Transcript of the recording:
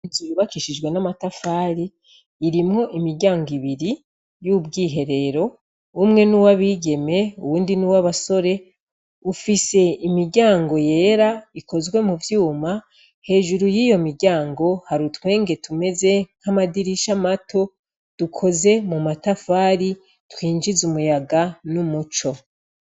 Inzu yubakishijwe amatafari, irimwo imiryango ibiri y'ubwiherero, umwe ni uw'abigeme uwuni ni uw'abasore, ufise imiryango yera ikozwe mu vyuma, hejuru y'iyo miryango hari utwenge tumeze nk'amadirisha mato, dukoze mu matafari, twinjiza umuyaga n'umuco.